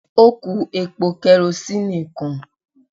Ó kú epo karosíìnì kan.